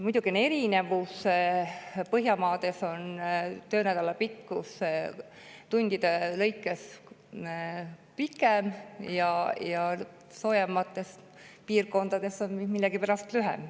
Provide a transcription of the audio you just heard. Muidugi on erinevusi – Põhjamaades on töönädala pikkus tundide lõikes pikem ja soojemates piirkondades on see millegipärast lühem.